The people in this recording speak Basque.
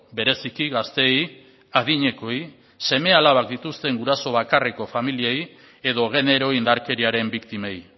bereziki gazteei adinekoei seme alabak dituzten guraso bakarreko familiei edo genero indarkeriaren biktimei